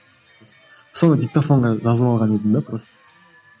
соны диктофонға жазып алған едім де просто